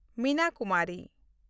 Mina Kumari